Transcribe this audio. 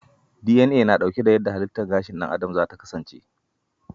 DNA na dauke da yadda halittar gashin dan adam zata kasance.